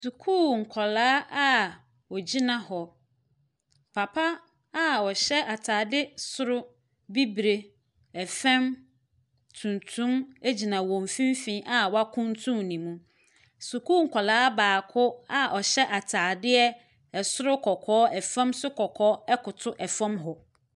Sukuu nkwalaa a wogyina hɔ. Papa a ɔhyɛ ataade soro bibire, ɛfɛm tuntum egyina wɔn mfimfini a wakuntu ne mu. Sukuu nkɔlaa baako a ɔhyɛ ataadeɛ ɛsoro kɔkɔɔ, ɛfɛm so kɔkɔɔ ɛkoto ɛfɔm hɔ.